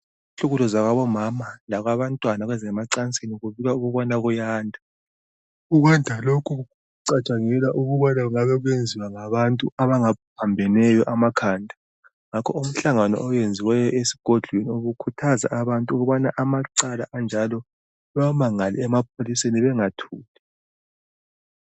Ukuhlukuluzwa kwabo mama lokwa bantwana kweze macansini, kubikwa kuyanda. Ukwanda lokhu kucatshangelwa ukubana kungabe kuyenziwa ngabantu abaphambeneyo amakhanda. Ngakho umhlangano owenziweyo esigodlweni, ubukhuthaza abantu ukubana amacala anjalo bawamangale emapholiseni bangathuli.